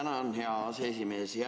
Tänan, hea aseesimees!